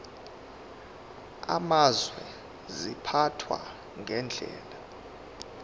amazwe ziphathwa ngendlela